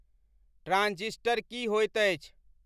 transistor की होइत अछि